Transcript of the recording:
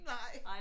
Nej